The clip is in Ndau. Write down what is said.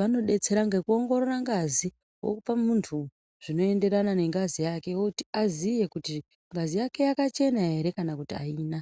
vanobetsera ngekuongorora ngazi vokupa muntu zvinoenderana nengazi yake. Kuti aziye kuti ngazi yake yakachena ere kana kuti haina.